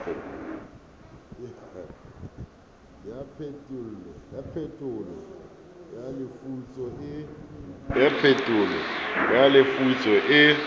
ya phetolo ya lefutso e